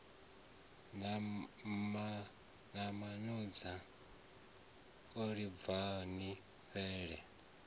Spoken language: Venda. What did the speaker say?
na mamoza ibvani ni fhele